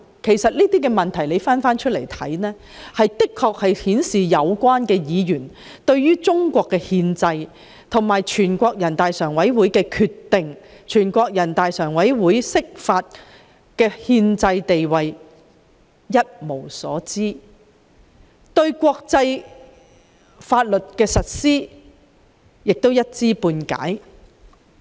回頭看這種種質疑，其實是顯示了有關議員對中國憲制，以至全國人大常委會作出決定及釋法的憲制地位一無所知，而他們對國際法律的實施亦是一知半解。